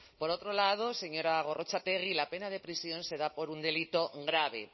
por otro lado señora gorrotxategi la pena de prisión se da por un delito grave